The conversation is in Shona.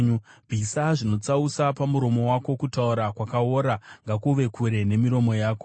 Bvisa zvinotsausa pamuromo wako; kutaura kwakaora ngakuve kure nemiromo yako.